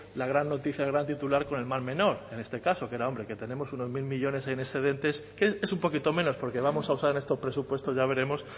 la gran noticia gran titular con el mal menor en este caso que era hombre que tenemos unos mil millónes en excedentes que es un poquito menos porque vamos a usar en estos presupuestos ya veremos